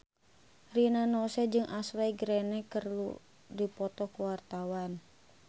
Rina Nose jeung Ashley Greene keur dipoto ku wartawan